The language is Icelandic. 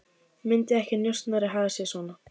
Myndi ekki njósnari haga sér svona?